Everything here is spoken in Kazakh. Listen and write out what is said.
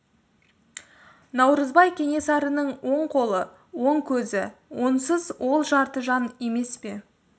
наурызбай кенесарының оң қолы оң көзі онсыз ол жарты жан емес пе